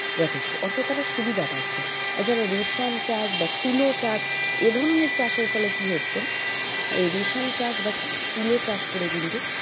যথেষ্ট অর্থাৎ তারা সুবিধা পাচ্ছে রেশম চাষ বা তুলো চাষ এধরনের চাষের ফলে কি হচ্ছে এই রেশম চাষ বা তুলো চাষ করে কিন্তু,